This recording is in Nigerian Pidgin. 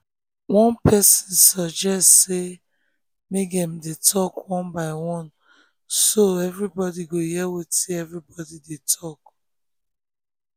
one person suggest say make dem dey talk one by one so everybody go hear wetin everybody get to talk